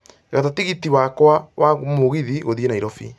gata tigiti wakwa wa mũgithi gũthiĩ nairobi